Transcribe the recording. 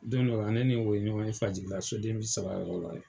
Don dɔ la ne ni o ye ɲɔgɔn ye fajigila so den bi saba yɔrɔ la.